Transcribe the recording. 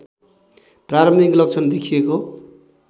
प्रारम्भिक लक्षण देखिएको